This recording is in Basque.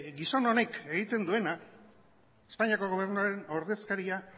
gizon honek egiten duena espainiako gobernuaren ordezkaria